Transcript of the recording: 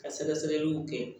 Ka sɛgɛsɛgɛliw kɛ